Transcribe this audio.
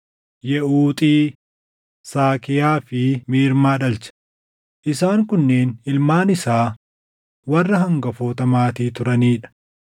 Yeʼuuxi, Saakiyaa fi Miirmaa dhalche; isaan kunneen ilmaan isaa warra hangafoota maatii turanii dha.